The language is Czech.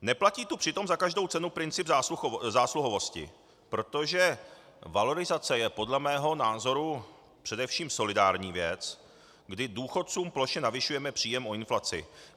Neplatí tu přitom za každou cenu princip zásluhovosti, protože valorizace je podle mého názoru především solidární věc, kdy důchodcům plošně navyšujeme příjem o inflaci.